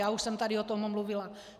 Já už jsem tady o tom mluvila.